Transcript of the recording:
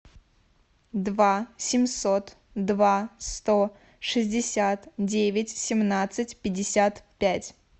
два семьсот два сто шестьдесят девять семнадцать пятьдесят пять